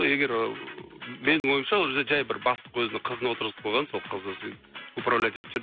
егер ыыы менің ойымша ол жерде жай бір бастық өзінің қызын отырғызып қойған сол қызы сөйтіп управлять етіп жүр